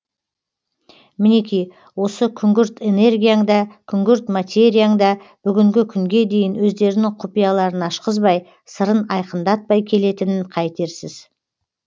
мінеки осы күңгірт энергияң да күңгірт материяң да бүгінгі күнге дейін өздерінің құпияларын ашқызбай сырын айқындатпай келетінін қайтерсіз